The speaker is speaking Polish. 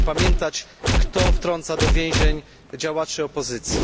Będziemy pamiętać, kto wtrąca do więzień działaczy opozycji.